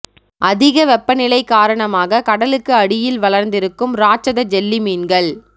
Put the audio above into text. அதிக வெப்பநிலை காரணமாக கடலுக்கு அடியில் வளர்ந்திருக்கும் ராட்சத ஜெல்லி மீன்கள்